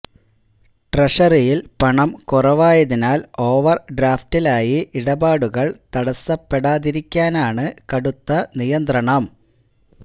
ട്രഷറിയിൽ പണം കുറവായതിനാൽ ഓവർ ഡ്രാഫ്റ്റിൽ ആയി ഇടപാടുകൾ തടസ്സപ്പെടാതിരിക്കാനാണ് കടുത്ത നിയന്ത്രണം